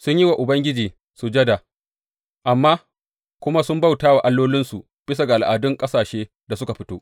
Sun yi wa Ubangiji sujada, amma kuma sun bauta wa allolinsu bisa ga al’adun ƙasashen da suka fito.